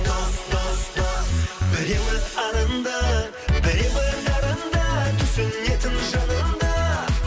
дос дос дос біреуі арынды біреуі нарынды түсінетін жаныңды